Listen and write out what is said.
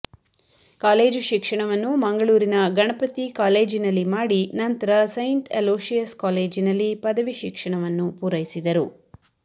college ಶಿಕ್ಷಣವನ್ನು ಮಂಗಳೂರಿನ ಗಣಪತಿ ಕಾಲೇಜಿನಲ್ಲಿ ಮಾಡಿ ನಂತರ ಸೈಂಟ್ ಅಲೋಶಿಯಸ್ ಕಾಲೇಜಿನಲ್ಲಿ ಪದವಿ ಶಿಕ್ಷಣವನ್ನು ಪೂರೈಸಿದರು